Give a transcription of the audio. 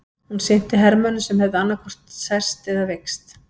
Hún sinnti hermönnum sem höfðu annaðhvort særst eða veikst.